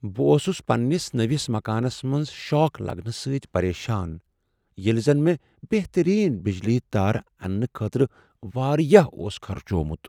بہٕ اوس پننس نٔوس مکانس منٛز شاک لگنہٕ سۭتۍ پریشان ییٚلہ زن مےٚ بہترییٖن بجلی تارٕ اننہٕ خٲطرٕ واریاہ اوس خرچوومت۔